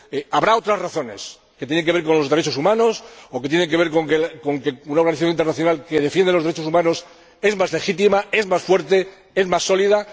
Habrá otras razones que tienen que ver con los derechos humanos o que tienen que ver con que una organización internacional que defiende los derechos humanos es más legítima, es más fuerte, es más sólida.